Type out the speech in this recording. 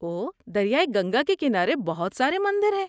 اوہ، دریائے گنگا کے کنارے بہت سارے مندر ہیں۔